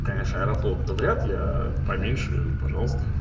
конечно аэрофлот то вряд ли поменьше поменьше пожалуйста